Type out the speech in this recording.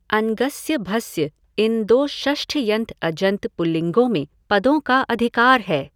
अङ्गस्य भस्य इन दो षष्ठ्यन्त अजन्त पुल्लिंगों में पदों का अधिकार है।